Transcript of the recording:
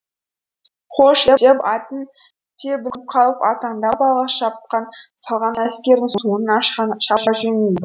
хош деп атын тебініп қалып аттандап алға шапқан салған әскердің соңынан шаба жөнелді